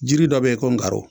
Jiri dɔ be ye ko ngaro